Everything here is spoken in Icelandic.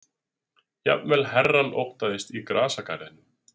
Jafnvel herrann óttaðist í grasgarðinum.